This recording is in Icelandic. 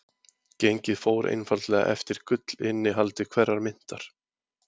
Gengið fór einfaldlega eftir gullinnihaldi hverrar myntar.